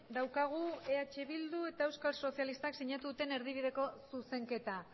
daukagu eh bildu eta euskal sozialistak sinatu duten erdibideko zuzenketa